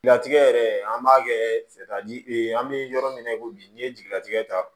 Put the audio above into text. Latigɛ yɛrɛ an b'a kɛ fɛ ka an bɛ yɔrɔ min na i ko bi n'i ye jigilatigɛ ta